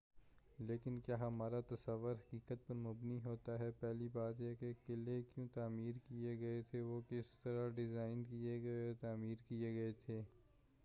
لیکن کیا ہمارا تصور حقیقت پر مبنی ہوتا ہے پہلی بات یہ کہ قلعے کیوں تعمیر کئے گئے تھے وہ کس طرح ڈیزائن کئے گئے اور تعمیر کئے گئے تھے